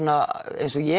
eins og ég